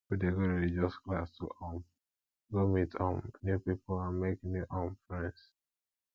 pipo de go religious class to um go meet um new pipo and make new um friends